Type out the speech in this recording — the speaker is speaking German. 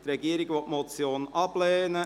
Die Regierung lehnt diese Motion ab.